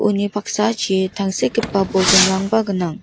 uni paksachi tangsekgipa bolgrimrangba gnang.